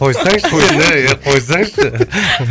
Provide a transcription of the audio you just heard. қойсайшы қойсай е қойсаңызшы